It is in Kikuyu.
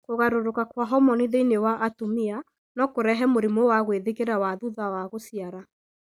Kũgarũrũka kwa homoni thĩinĩ wa atumia no kũrehe mũrimũ wa gwĩthikĩra wa thutha wa gũciara.